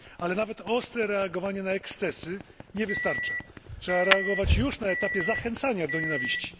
Ale nawet ostre reagowanie na ekscesy nie wystarcza. Trzeba reagować już na etapie zachęcania do nienawiści.